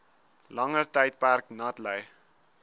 langer tydperk natlei